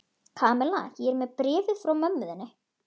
Kamilla, ég er með bréfið frá mömmu þinni.